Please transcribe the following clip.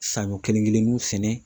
Saɲɔ kelen kelenninw sɛnɛ